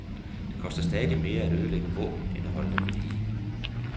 Det koster stadig mere at ødelægge våben end at holde dem ved lige.